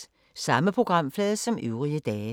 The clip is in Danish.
Samme programflade som øvrige dage